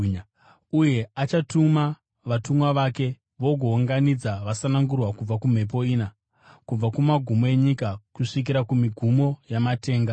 Uye achatuma vatumwa vake, vagounganidza vasanangurwa kubva kumhepo ina, kubva kumagumo enyika kusvikira kumigumo yamatenga.